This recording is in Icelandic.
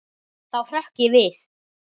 Þá hrökk ég við.